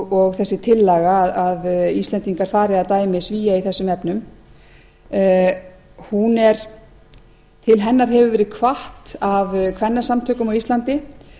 og þessi tillaga að íslendingar fari að dæmi svía í þessum efnum til hennar hefur verið hvatt af kvennasamtökum á íslandi